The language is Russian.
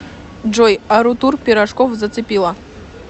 джой арутур пирожков зацепила